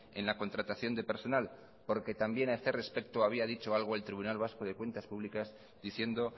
en la contratación de personal porque también a este respecto había dicho algo el tribunal vasco de cuentas públicas diciendo